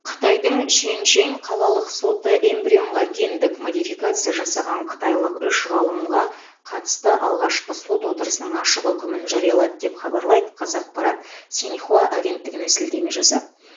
қытайдың шэньшэнь қалалық соты эмбрионға гендік модификация жасаған қытайлық үш ғалымға қатысты алғашқы сот отырысының ашық үкімін жариялады деп хабарлайды қазақпарат синьхуа агенттігіне сілтеме жасап